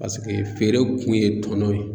Paseke feere kun ye tɔnɔ ye.